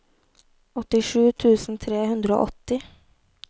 åttisju tusen tre hundre og åtti